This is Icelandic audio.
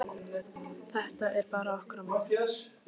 Þetta er bara okkar á milli.